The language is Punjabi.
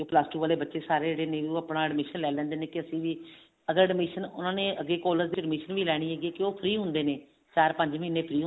plus ਟੋ ਵਾਲੇ ਬੱਚੇ ਜਿਹੜੇ new ਆਪਣਾ admission ਲੈ ਲੈਂਦੇ ਨੇ ਵੀ ਅਸੀਂ ਵੀ ਅਗਰ admission ਉਹਨਾ ਨੇ ਅੱਗੇ collage ਦੀ admission ਵੀ ਲੈਣੀ ਹੈਗੀ ਵੀ ਉਹ free ਹੁੰਦੇ ਨੇ ਚਾਰ ਪੰਜ ਮਹੀਨੇ free ਹੁੰਦੇ ਨੇ